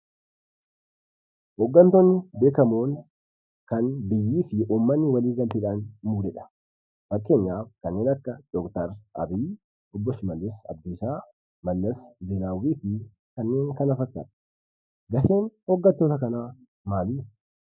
Hooggantoonni beekkamoon kan biyyii fi uummanni waligalteedhan muudedha. Fakkeenyaaf Doktor Abiy Ahmed, Obbo Shimallis Abdiisa fi Obbo Mallas Zeenaawwii. Gaheen hooggantoota kana maalidha?